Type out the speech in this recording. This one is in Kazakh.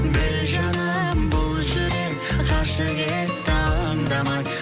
біл жаным бұл жүрек ғашық етті аңдамай